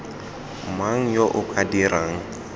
mang yo o ka dirang